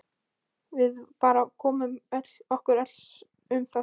Við bara komum okkur saman um það.